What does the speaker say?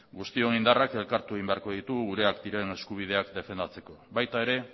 guztion indarrak elkartu egin beharko ditugu gureak diren eskubideak defendatzeko baita ere